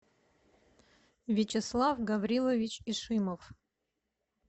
вячеслав гаврилович ишимов